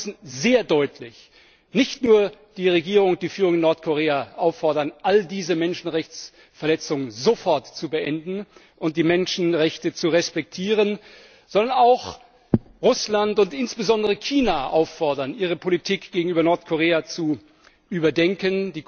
Ich glaube, wir müssen nicht nur die Regierung und die Führung in Nordkorea sehr deutlich auffordern, all diese Menschenrechtsverletzungen sofort zu beenden und die Menschenrechte zu respektieren, sondern auch Russland und insbesondere China auffordern, ihre Politik gegenüber Nordkorea zu überdenken.